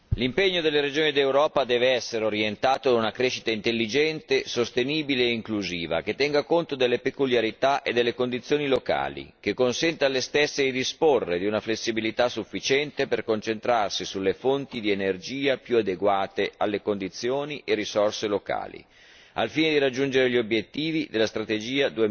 Signor Presidente, l'impegno delle regioni d'Europa deve essere orientato verso una crescita intelligente, sostenibile e inclusiva, che tenga conto delle peculiarità e delle condizioni locali e consenta alle stesse di disporre di una flessibilità sufficiente per concentrarsi sulle fonti di energia più adeguate alle condizioni e alle risorse locali, al fine di raggiungere gli obiettivi della strategia